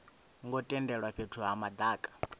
ngo tendelwa fhethu ha madaka